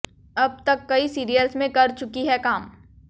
अब तक कई सीरियल्स में कर चुकी हैं काम